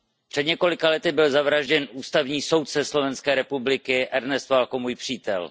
Před několika lety byl zavražděn ústavní soudce Slovenské republiky Ernest Valko, můj přítel.